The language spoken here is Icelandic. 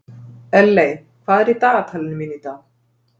Elley, hvað er í dagatalinu mínu í dag?